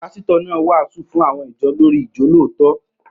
Pásítọ̀ náà wàásù fún àwọn ìjọ lórii ijolootọ